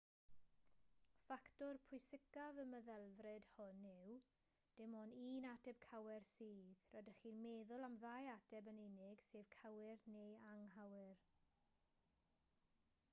ffactor pwysicaf y meddylfryd hwn yw dim ond un ateb cywir sydd rydych chi'n meddwl am ddau ateb yn unig sef cywir neu anghywir